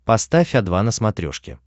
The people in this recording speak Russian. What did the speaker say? поставь о два на смотрешке